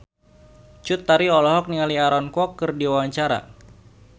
Cut Tari olohok ningali Aaron Kwok keur diwawancara